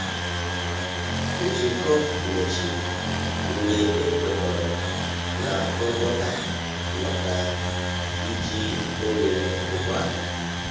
Nzukọ mechịrị mgbe a kwekọrọ na ngwọta maka iji oghere ụgbọala.